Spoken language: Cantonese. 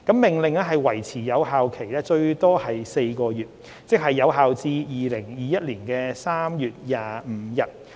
《命令》維持有效最多4個月，即有效至2021年3月25日。